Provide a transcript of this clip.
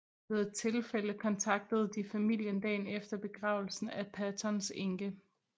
Ved et tilfælde kontaktede de familien dagen efter begravelsen af Pattons enke